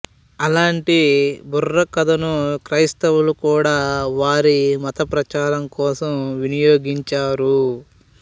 అలాంటి బుర్ర కథను క్రైస్తవులు కూడా వారి మత ప్రచారం కోసం వినియోగించారు